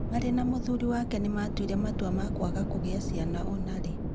Marĩ na mũthuri wake nĩ maatuire itua rĩa kwaga kũgĩa ciana ona rĩ.